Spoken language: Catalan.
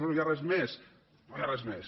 no hi ha res més no hi ha res més